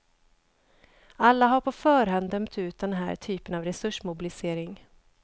Alla har på förhand dömt ut den här typen av resursmobilisering.